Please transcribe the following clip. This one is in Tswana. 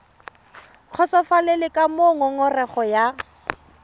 kgotsofalele ka moo ngongorego ya